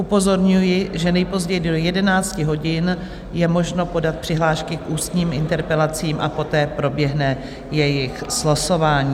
Upozorňuji, že nejpozději do 11 hodin je možno podat přihlášky k ústním interpelacím a poté proběhne jejich slosování.